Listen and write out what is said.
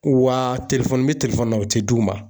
Wa n bɛ na o tɛ d'u ma